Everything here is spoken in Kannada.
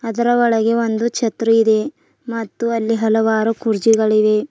ಅದರ ಒಳಗೆ ಒಂದು ಛತ್ರಿ ಇದೆ ಮತ್ತು ಅಲ್ಲಿ ಹಲವಾರು ಕುರ್ಚಿಗಳಿವೆ.